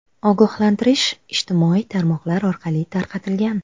Ogohlantirish ijtimoiy tarmoqlar orqali tarqatilgan.